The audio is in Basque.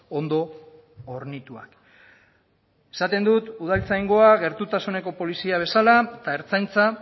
ondo hornituak esaten dut udaltzaingoa gertutasuneko polizia bezala eta ertzaintza